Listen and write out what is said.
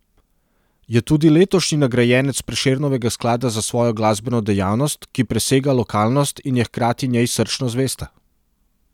Je tudi letošnji nagrajenec Prešernovega sklada za svojo glasbeno dejavnost, ki presega lokalnost in je hkrati njej srčno zvesta.